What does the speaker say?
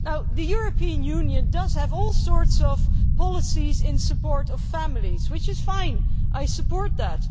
The European Union does have all sorts of policies in support of families, which is fine I support that.